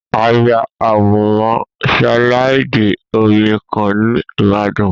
A ya àwòrán sílàìdì omi kan ní Ìbàdàn